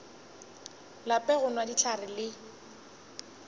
lape go nwa dihlare le